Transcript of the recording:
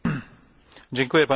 Panie Przewodniczący!